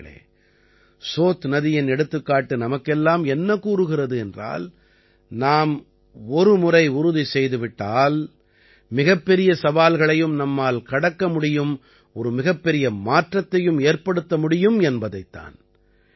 நண்பர்களே சோத் நதியின் எடுத்துக்காட்டு நமக்கெல்லாம் என்ன கூறுகிறது என்றால் நாம் ஒருமுறை உறுதி செய்து விட்டால் மிகப்பெரிய சவால்களையும் நம்மால் கடக்க முடியும் ஒரு மிகப்பெரிய மாற்றத்தையும் ஏற்படுத்த முடியும் என்பதைத் தான்